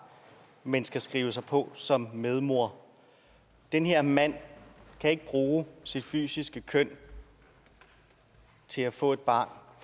men skal skrive sig på som medmor den her mand kan ikke bruge sit fysiske køn til at få et barn